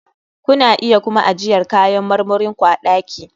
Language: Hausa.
Kuna iya kuma ajiyar kayan marmarin ku a ɗaki.